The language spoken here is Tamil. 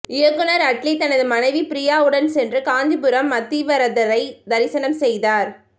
இயக்குனர் அட்லி தனது மனைவி ப்ரியா உடன் சென்று காஞ்சிபுரம் அத்திவரதரை தரிசனம் செய்தார்